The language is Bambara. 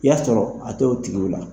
I y'a sɔrɔ a tɛ o tigiw la.